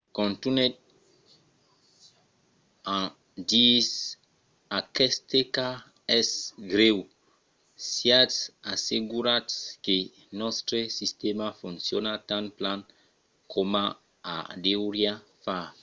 contunhèt en disent aqueste cas es grèu. siatz assegurats que nòstre sistèma fonciona tan plan coma o deuriá far.